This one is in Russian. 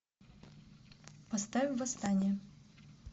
поставь восстание